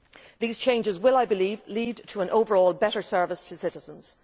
These changes will, I believe, lead to an overall better service to citizens.